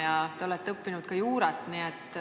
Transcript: Ja te olete õppinud ka juurat.